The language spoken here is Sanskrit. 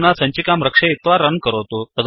अधुना सञ्चिकां रक्षयित्वा रन् करोतु